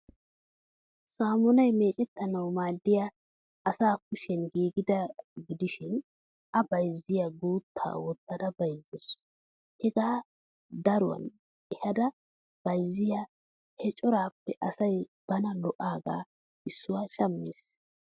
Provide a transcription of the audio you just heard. Saammunaa meccettanawu maaddiya asa kushiyan giigidaagaa gidishin a bayzziyaa gutta wottada bayzzawus. Hegaa daruwan ehada bayzziyaa he coraappe asay bana lo'aagaa issuwa shammes.